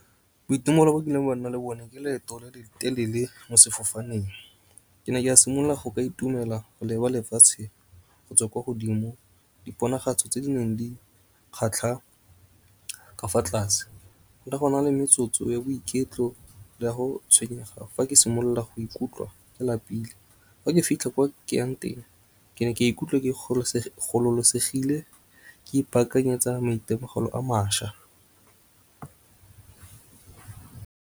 Boitumelo bo kileng wa nna le bone ke leeto le le telele mo sefofaneng. Ke ne ke a simolola go ka itumela go leba lefatshe go tswa kwa godimo diponagatso tse di neng di kgatlha ka fa tlase. Le go na le metsotso ya boiketlo le ya go tshwenyega fa ke simolola go ikutlwa ke lapile fa ke fitlha kwa ke yang teng, ke ne ke ikutlwe ke gololosegile ke ipaakanyetsa maitemogelo a mašwa.